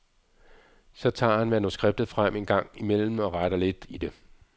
Så tager han manuskriptet frem en gang imellem og retter lidt i det.